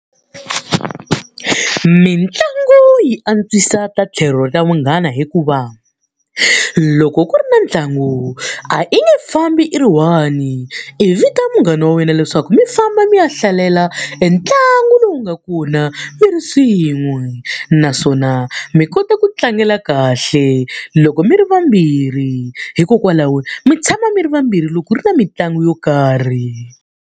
Mitlangu yi antswisa ta tlhelo ra munghana hikuva, loko ku ri na ntlangu a i nge fambi i ri one-i, i vita munghana wa wena leswaku mi famba mi ya hlalela entlangu lowu nga kona mi ri swin'we. Naswona mi kota ku tlangela kahle loko mi ri vambirhi, hikokwalaho mi tshama mi ri vambirhi loko ku ri na mitlangu yo karhi.